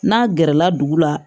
N'a gɛrɛla dugu la